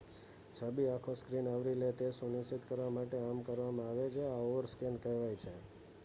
છબી આખો સ્ક્રીન આવરી લે તે સુનિશ્ચિત કરવા માટે આમ કરવામાં આવે છે આ ઓવરસ્કૅન કહેવાય છે